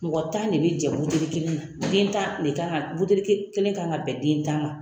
Mɔgɔ tan de bɛ jɛ buteli kelen na den tan de kan ka buteli kan ka bɛn den tan ma